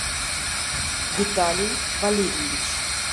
виталий валерьевич